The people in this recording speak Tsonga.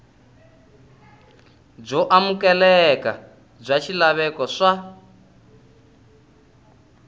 byo amukeleka bya swilaveko swa